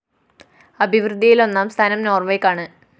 അഭിവൃദ്ധിയില്‍ ഒന്നാം സ്ഥാനം നോര്‍വെയ്ക്കാണ്